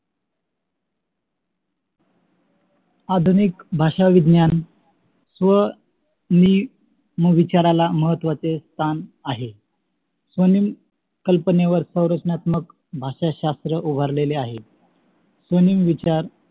आधुनिक भाषा विज्ञान व मी विचारणा महत्वाचे स्थान आहे म्हणून कल्पनेवर सौराशानात्मक भाषा शास्त्र उभारलेले आहे. म्हणून विचार